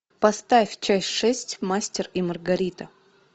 поставь часть шесть мастер и маргарита